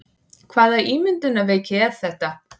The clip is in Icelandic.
Hvaða ímyndunarveiki var þetta?